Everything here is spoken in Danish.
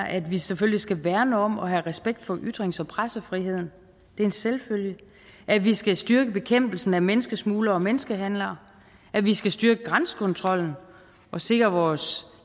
at vi selvfølgelig skal værne om at have respekt for ytrings og pressefriheden det er en selvfølge at vi skal styrke bekæmpelsen af menneskesmuglere og menneskehandlere at vi skal styrke grænsekontrollen og sikre vores